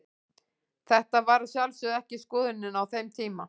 Þetta var að sjálfsögðu ekki skoðunin á þeim tíma.